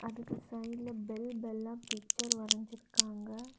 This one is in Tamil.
அதுக்கு சைட்ல பெல் பெல்லா பிச்சர் வரைஞ்சிருக்காங்க.